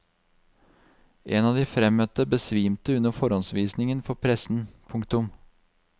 En av de fremmøtte besvimte under forhåndsvisningen for pressen. punktum